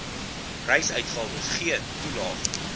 reisuitgawes geen toelaag